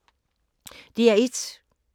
DR1